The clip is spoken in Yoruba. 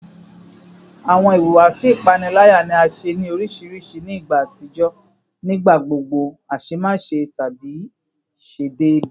Awọn ihuwasi ipanilaya ni a ṣe ni oriṣiriṣi ni igba atijọ, nigbagbogbo aṣemáṣe tabi ṣe deede